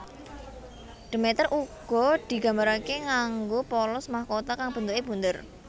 Demeter uga digambarake nganggo polos mahkota kang bentuke bunder